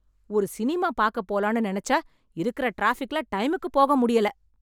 ஒரு சினிமா பாக்க போலானு நெனச்சா இருக்கிற டிராஃபிக்ல டைமுக்குப் போக முடியல.